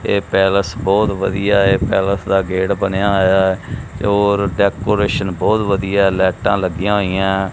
ਇਹ ਪੈਲਸ ਬਹੁਤ ਵਧੀਆ ਇਹ ਪੈਲਸ ਦਾ ਗੇਟ ਬਣਿਆ ਹੋਇਆ ਤੇ ਉਹ ਡੈਕੋਰੇਸ਼ਨ ਬਹੁਤ ਵਧੀਆ ਲਾਈਟਾਂ ਲੱਗੀਆਂ ਹੋਈਆਂ।